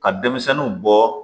Ka denmisɛnninw bɔ